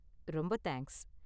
ரொம்ப தேங்க்ஸ்.